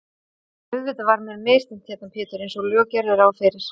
Auðvitað var mér misþyrmt hérna Pétur einsog lög gerðu ráð fyrir.